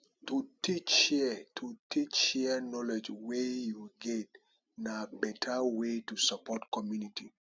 to teach share to teach share knowledge wey you get na beta way to support community